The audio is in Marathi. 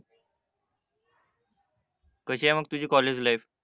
कशीये मंग तुझी लाईफ